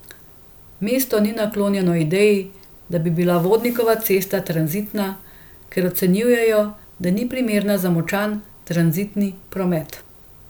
Mesto ni naklonjeno ideji, da bi bila Vodnikova cesta tranzitna, ker ocenjujejo, da ni primerna za močan tranzitni promet.